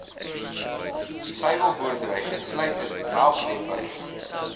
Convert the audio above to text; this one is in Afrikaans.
suiwelboerdery insluitend melkdepots